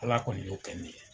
Ala kɔni y'o kɛ ne ye.